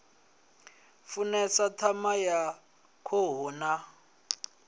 funesa ṋama ya khuhu na